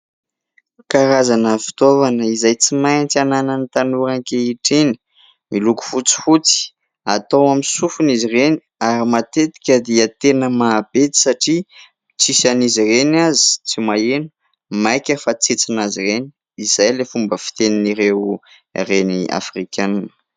Karazana fitaovana izay tsy maintsy ananan'ny tanora ankehitriny, miloko fotsifotsy, atao amin'ny sofina izy ireny ary matetika dia tena mahabedy satria tsisy an'izy ireny aza tsy maheno maika fa tsentsina azy ireny, izay ilay fomba fitenin'ireo reny afrikanina.